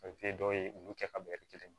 dɔw ye ulu kɛ ka bɛɛ kelen ye